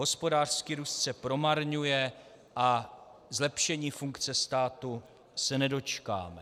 Hospodářský růst se promarňuje a zlepšení funkce státu se nedočkáme.